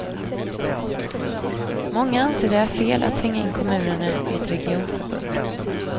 Många anser det är fel att tvinga in kommunerna i ett regionförbund.